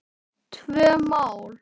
Tvö mál.